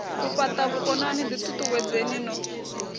u fhata vhukonani ditutuwedzeni no